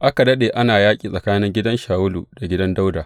Aka daɗe ana yaƙi tsakanin gidan Shawulu da gidan Dawuda.